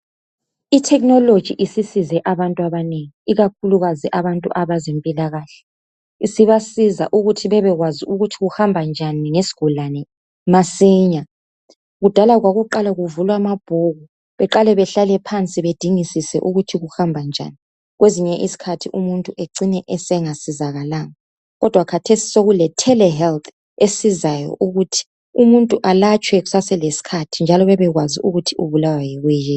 I technology isisize abantu abanengi, ikakhulukazi abantu bezempilakahle. Isibasiza ukuthi bebekwazi ukuthi kuhamba njani ngesigulane masinya. Kudala kwakuqala kuvulwe amabhuku, beqale behlale phansi bedingisise ukuthi kuhamba njani, kwezinye izikhathi umuntu ecine engasizakalanga, kodwa khathesi sekuke telehealth esizayo ukuthi umuntu alatshwe kusaselesikhathi njalo bebekwazi ukuthi ubulawa yikuyini.